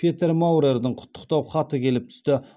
петер маурердің құттықтау хаты келіп түсті